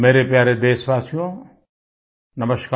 मेरे प्यारे देशवासियो नमस्कार